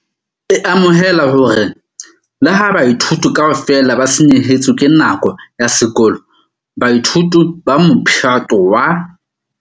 E amohela hore le ha baithuti kaofela ba senyehetswe ke nako ya sekolo, baithuti ba Mophato wa.